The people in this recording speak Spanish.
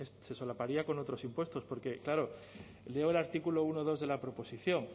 se solaparía con otros impuestos porque claro leo el artículo uno punto dos de la proposición